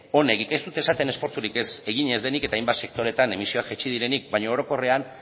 onegik ez dut esaten esfortzurik egin ez denik eta hainbat sektoretan emisioak jaitsi direnik baina orokorrean